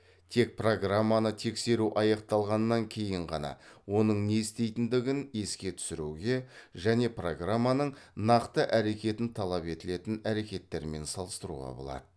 тек программаны тексеру аяқталғаннан кейін ғана оның не істейтіндігін еске түсіруге және программаның нақты әрекетін талап етілетін әрекеттермен салыстыруға болады